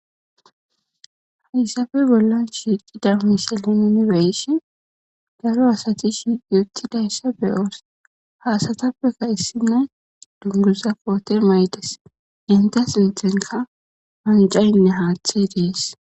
Hayssappe bollan shiiqqida misile nuun beyishin cora asati shiiqqi uuttidayssa be'os hayssatappekka issinoy dunguza koote maayides eetta sinththanikka wancan haththey dees